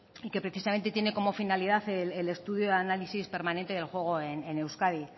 y que precisamente tiene como finalidad el estudio y análisis permanente del juego en euskadi